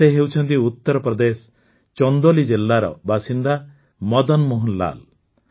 ଏ ହେଉଛନ୍ତି ଉତ୍ତରପ୍ରଦେଶ ଚନ୍ଦୋଲୀ ଜିଲ୍ଲାର ବାସିନ୍ଦା ମଦନମୋହନ ଲାଲ୍